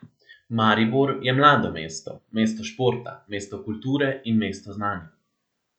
Maribor je mlado mesto, mesto športa, mesto kulture in mesto znanja.